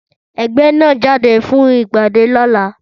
Ẹgbẹ́ náà ń jáde lọ fún ìpàdé lọ́la